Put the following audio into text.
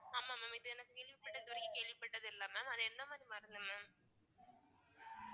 ஆமா mam இது எனக்கு கேள்விப்பட்~ இதுவரைக்கும் கேள்விப்பட்டதில்லை mam அது எந்த மாதிரி மருந்து mam